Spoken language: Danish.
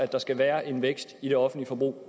der skal være en vækst i det offentlige forbrug